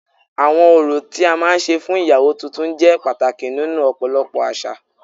Awọn orò tí a máa ń ṣe fún iyawo tuntun jẹ pàtàkì nínú ọ̀pọ̀lọpọ̀ àṣà